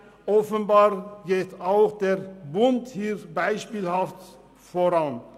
Offenbar geht auch der Bund hier beispielhaft voran.